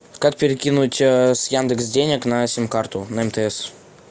как перекинуть с яндекс денег на сим карту на мтс